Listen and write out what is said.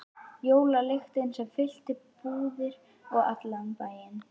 Jólalyktin sem fyllti búðir og allan bæinn?